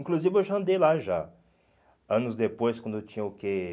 Inclusive eu já andei lá já, anos depois, quando eu tinha o quê?